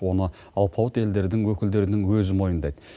оны алпауыт елдердің өкілдерінің өзі мойындайды